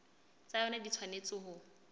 tsa yona di tshwanetse ho